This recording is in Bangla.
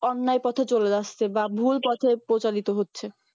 অন্যায়ের পথে চলে আসছে বা ভুল পথে প্রচালিত হচ্ছে